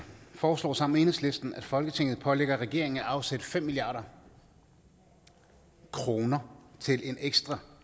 foreslår sammen med enhedslisten at folketinget pålægger regeringen at afsætte fem milliard kroner til en ekstra